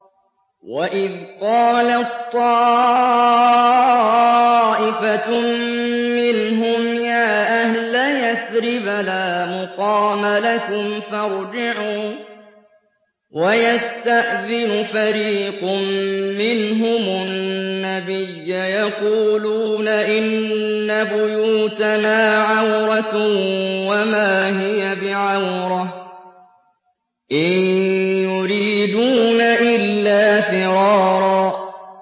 وَإِذْ قَالَت طَّائِفَةٌ مِّنْهُمْ يَا أَهْلَ يَثْرِبَ لَا مُقَامَ لَكُمْ فَارْجِعُوا ۚ وَيَسْتَأْذِنُ فَرِيقٌ مِّنْهُمُ النَّبِيَّ يَقُولُونَ إِنَّ بُيُوتَنَا عَوْرَةٌ وَمَا هِيَ بِعَوْرَةٍ ۖ إِن يُرِيدُونَ إِلَّا فِرَارًا